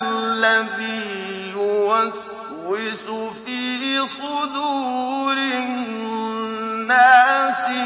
الَّذِي يُوَسْوِسُ فِي صُدُورِ النَّاسِ